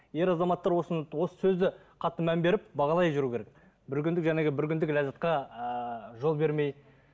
ер азаматтар осыны осы сөзді қатты мән беріп бағалай жүру керек бір күнді бір күндік ләззатқа ыыы жол бермей